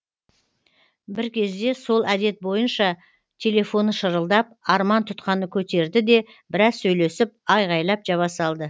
бір кезде сол әдет бойынша телефоны шырылдап арман тұтқаны көтерді де біраз сөйлесіп айғайлап жаба салды